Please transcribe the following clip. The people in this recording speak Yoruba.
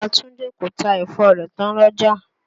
Ìya Túndé kò ta ẹ̀fọ rẹ̀ tán l'ọ́jà.